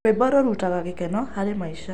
Rwĩmbo rũrutaga gĩkeno harĩ maica.